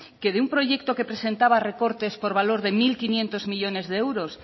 que de un proyecto que presentaba recortes por valor de mil quinientos millónes de euros